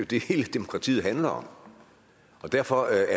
det hele demokratiet handler om og derfor er